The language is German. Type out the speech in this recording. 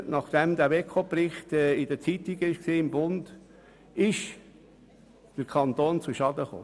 Nachdem der Bericht der Finanzkontrolle im «Bund» aufgetaucht ist, wollten wir wissen, ob der Kanton zu Schaden kam.